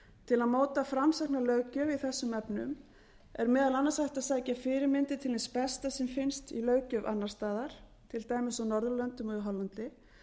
til að móta framsækna löggjöf í þessum efnum er meðal annars hægt að sækja fyrirmyndir til hins besta sem finnst í löggjöf annars staðar til dæmis á norðurlöndunum og í hollandi